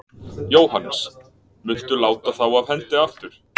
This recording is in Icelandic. Jóhannes: Muntu láta þá af hendi aftur?